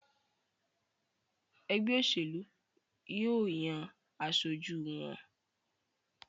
ègbé òṣèlú yíò yàn aṣojú wón.